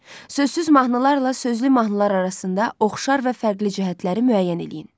Sözsüz mahnılarla sözlü mahnılar arasında oxşar və fərqli cəhətləri müəyyən eləyin.